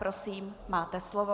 Prosím, máte slovo.